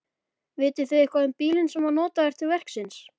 Vitið þið eitthvað um bílinn sem var notaður til verksins?